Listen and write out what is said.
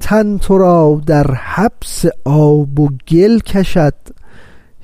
تن ترا در حبس آب و گل کشد